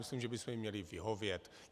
Myslím, že bychom jim měli vyhovět.